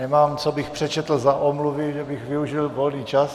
Nemám, co bych přečetl za omluvy, že bych využil volný čas.